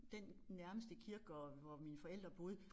Den nærmeste kirkegård hvor mine forældre boede